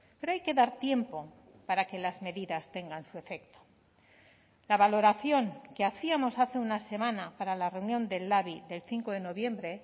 pero hay que dar tiempo para que las medidas tengan su efecto la valoración que hacíamos hace una semana para la reunión del labi del cinco de noviembre